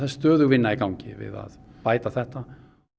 stöðug vinna í gangi við að bæta þetta